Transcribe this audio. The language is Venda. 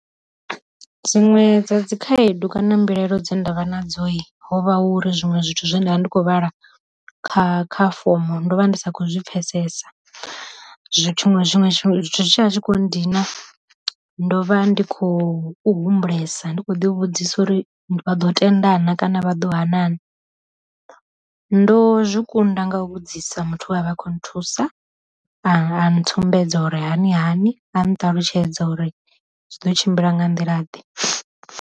Dziṅwe dza dzi khaedu kana mbilaelo dza ndavha na dzo yi, ho vha uri zwiṅwe zwithu zwe ndavha ndi kho vhala kha kha fomo ndo vha ndi sa khou zwi pfesesa zwi tshiṅwe zwiṅwe zwi tshi kho ndina ndo vha ndi khou humbulesa ndi kho ḓi vhudzisa uri vha ḓo tenda na kana vha ḓo ha na. Ndo zwi kunda nga vhudzisa muthu we a vha a khou nthusa a ntsumbedza uri hani hani a nṱalutshedza uri zwi ḓo tshimbila nga nḓila ḓe.